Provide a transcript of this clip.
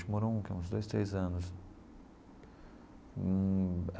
Morou um uns dois, três anos hum.